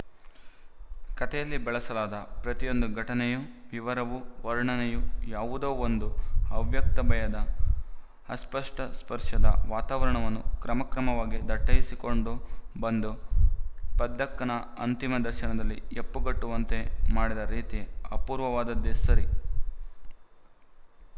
ಕಥೆಯಲ್ಲಿ ಬಳಸಲಾದ ಪ್ರತಿಯೊಂದು ಘಟನೆಯೂ ವಿವರವೂ ವರ್ಣನೆಯೂ ಯಾವುದೋ ಒಂದು ಅವ್ಯಕ್ತ ಭಯದ ಅಸ್ಪಷ್ಟ ಸ್ಪರ್ಶದ ವಾತಾವರಣವನ್ನು ಕ್ರಮಕ್ರಮವಾಗಿ ದಟ್ಟಯಿಸಿಕೊಂಡು ಬಂದು ಪದ್ದಕ್ಕನ ಅಂತಿಮ ದರ್ಶನದಲ್ಲಿ ಹೆಪ್ಪುಗಟ್ಟುವಂತೆ ಮಾಡಿದ ರೀತಿ ಅಪೂರ್ವವಾದದ್ದೇ ಸರಿ